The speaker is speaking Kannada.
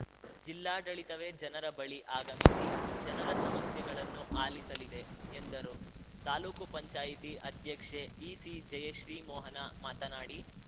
ಜಿಲ್ಲಾಡಳಿತವೇ ಜನರ ಬಳಿ ಆಗಮಿಸಿ ಜನರ ಸಮಸ್ಯೆಗಳನ್ನು ಆಲಿಸಲಿದೆ ಎಂದರು ತಾಲೂಕುಪಂಚಾಯ್ತಿ ಅಧ್ಯಕ್ಷೆ ಈಸಿ ಜಯಶ್ರೀ ಮೋಹನ ಮಾತನಾಡಿ